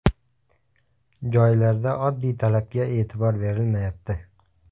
Joylarda oddiy talabga e’tibor berilmayapti.